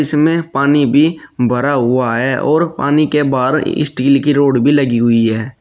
इसमें पानी भी भरा हुआ है और पानी के बाहर स्टील की रॉड भी लगी हुई है।